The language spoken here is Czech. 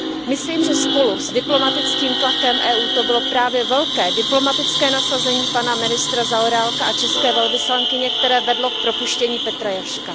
Myslím, že spolu s diplomatickým tlakem Evropské unie to bylo právě velké diplomatické nasazení ministra Zaorálka a české velvyslankyně, které vedlo k propuštění Petra Jaška.